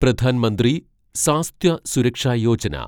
Pradhan Mantri Swasthya Suraksha Yojana